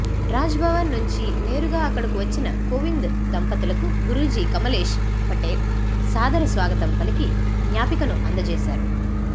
రాజ్భవన్ నుంచి నేరుగా అక్కడకు వచ్చిన కోవింద్ దంపతులకు గురూజీ కమలేష్ పటేల్ సాదర స్వాగతం పలికి జ్ఞాపికను అందజేశారు